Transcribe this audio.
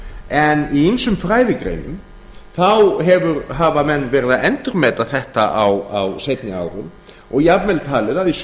en í ýmsum fræðigreinum þá hafa menn verið að endurmeta þetta á seinni árum og jafnvel talið að í sumum